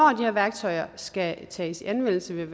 her værktøjer skal tages i anvendelse vil